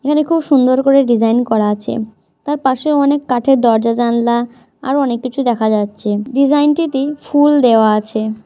এখানে খুব সুন্দর করে ডিজাইন করা আছে তার পাশেও অনেক কাঠের দরজা জানলা- আরো অনেক কিছু দেখা যাচ্ছে ডিজাইনটিটি ফুল দেওয়া আছে ।